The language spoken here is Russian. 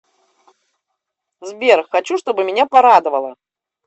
сбер хочу чтобы меня порадовало